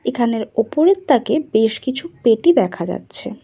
এখানের ওপরের তাকে বেশ কিছু পেটি দেখা যাচ্ছে।